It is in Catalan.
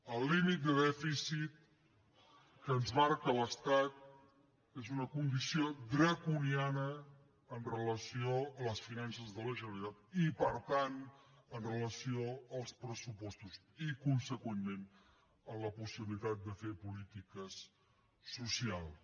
el límit de dèficit que ens marca l’estat és una condició draconiana en relació amb les finances de la generalitat i per tant en relació amb els pressupostos i consegüentment en la possibilitat de fer polítiques socials